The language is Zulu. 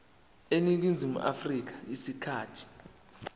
eningizimu afrika isikhathi